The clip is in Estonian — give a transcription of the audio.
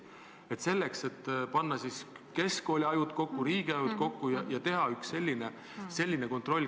Vahest saaks panna keskkoolide ajud ja riigi ajud kokku ja teha ühe sellise kontrollivahendi.